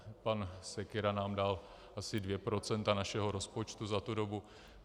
Pan Sekyra nám dal asi dvě procenta našeho rozpočtu za tu dobu.